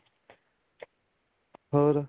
ਹੋਰ